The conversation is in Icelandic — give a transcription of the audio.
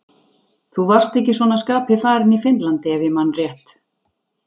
Þú varst ekki svona skapi farinn í Finnlandi, ef ég man rétt.